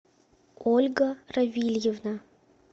ольга равильевна